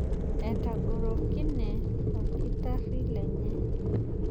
Etagorokine olkitarri lenye.